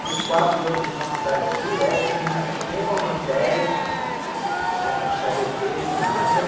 Fiz quatro anos de faculdade direto, sem repetir nenhuma matéria, sem puxar dê pê em nada.